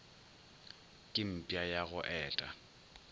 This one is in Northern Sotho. ke mpša ya go eta